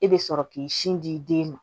E bɛ sɔrɔ k'i sin di den ma